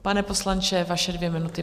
Pane poslanče, vaše dvě minuty.